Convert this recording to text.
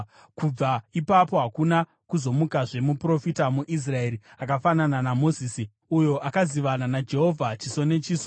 Kubva ipapo hakuna kuzomukazve muprofita muIsraeri akafanana naMozisi, uyo akazivana naJehovha chiso nechiso,